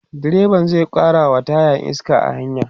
direban zai karawa taya iska a hanya